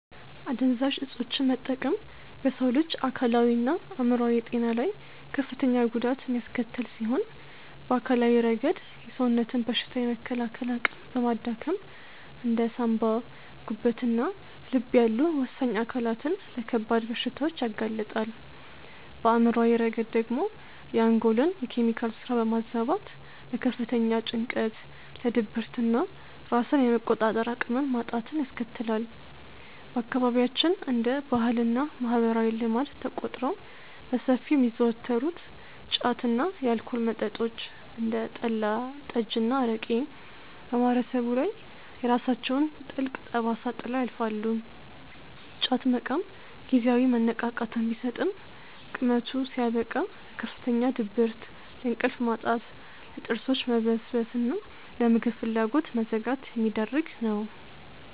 አደንዛዥ እፆችን መጠቀም በሰው ልጅ አካላዊና አእምሯዊ ጤና ላይ ከፍተኛ ጉዳት የሚያስከትል ሲሆን፣ በአካላዊ ረገድ የሰውነትን በሽታ የመከላከል አቅም በማዳከም እንደ ሳንባ፣ ጉበትና ልብ ያሉ ወሳኝ አካላትን ለከባድ በሽታዎች ያጋልጣል፤ በአእምሯዊ ረገድ ደግሞ የአንጎልን የኬሚካል ስራ በማዛባት ለከፍተኛ ጭንቀት፣ ለድብርትና ራስን የመቆጣጠር አቅምን ማጣትን ያስከትላል። በአካባቢያችን እንደ ባህልና ማህበራዊ ልማድ ተቆጥረው በሰፊው የሚዘወተሩት ጫት እና የአልኮል መጠጦች (እንደ ጠላ፣ ጠጅና አረቄ) በማህበረሰቡ ላይ የራሳቸውን ጥልቅ ጠባሳ ጥለው ያልፋሉ፤ ጫት መቃም ጊዜያዊ መነቃቃትን ቢሰጥም ቅመቱ ሲያበቃ ለከፍተኛ ድብርት፣ ለእንቅልፍ ማጣት፣ ለጥርሶች መበስበስና ለምግብ ፍላጎት መዘጋት የሚዳርግ ነው።